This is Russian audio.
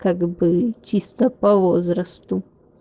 как бы чисто по возрасту